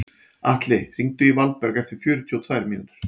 Atli, hringdu í Valberg eftir fjörutíu og tvær mínútur.